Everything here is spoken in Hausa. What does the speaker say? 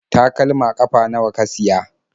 Takalma ƙafa nawa ka siya?